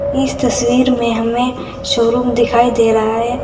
इस तस्वीर में हमें शोरूम दिखाई दे रहा है।